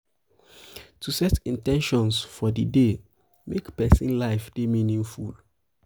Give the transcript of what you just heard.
to set in ten tions for um di day dey make persin life de meaningful